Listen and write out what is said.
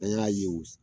An y'a ye u